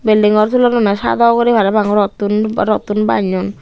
building ghor tulodonne saado uguri parapang rottun bannun.